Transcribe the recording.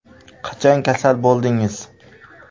Qachon kasal bo‘ldingiz?